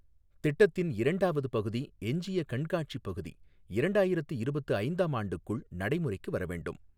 திட்டத்தின் இரண்டாவது பகுதி எஞ்சிய கண்காட்சி பகுதி இரண்டாயிரத்து இருபத்து ஐந்தாம் ஆண்டுக்குள் நடைமுறைக்கு வரவேண்டும்.